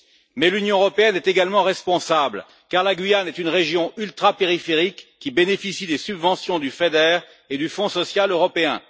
Mais l'Union européenne est également responsable, car la Guyane est une région ultrapériphérique qui bénéficie des subventions du FEDER et du Fonds social européen.